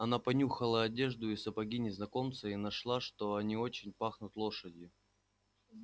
она понюхала одежду и сапоги незнакомца и нашла что они очень пахнут лошадью